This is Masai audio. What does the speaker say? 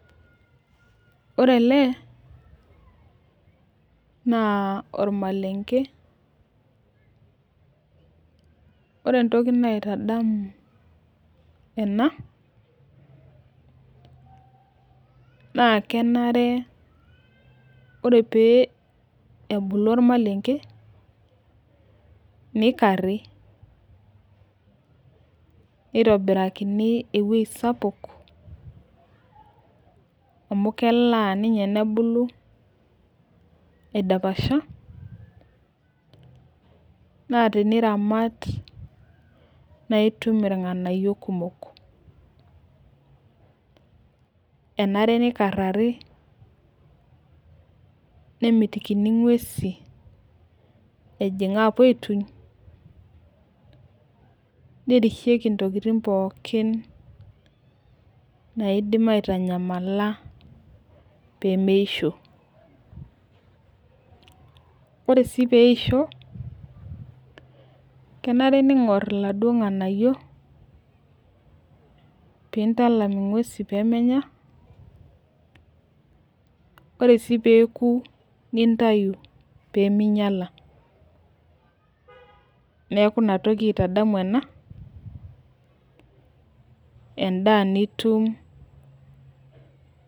Ore ele naa ormalenke, ore entoki naitadamu ena, ore pee ebulu ormalenke, nikari nitobiririni ewueji sapuk, amu melaa ninye nebulu aidapasha. naa teniramat naa itum ilnganayio kumok. nemitikini ing'uesien, nerisheki ntokitin pookin, naidim aitanyamala pee meisho. ore sii peeisho, kenare ningor iladui nganayio, pee intalam inguesin pee menya. ore sii peeku, nintayu pee ningiala. neeku Ina toki aitadamu ena, edaa nitum.